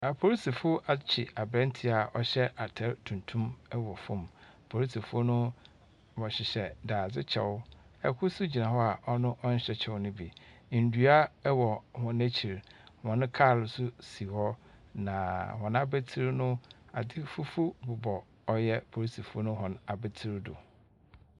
Apolisifo akye aberanteɛ a ɔhyɛ atar tuntum wɔ famu. Polisofo no, wɔhyehyɛ dadzekyɛw. Kor so gyina hɔ a ɔno ɔnnhyɛ kyɛw no bi. Ndua wɔ hɔn ekyir, hɔn kaar so si hɔ. Na hɔn abatsir no, adze fufuw bobɔ ɔyɛ apolisifo no hɔn abatsir do.